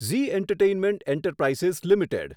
Zee entertainment enterprises limited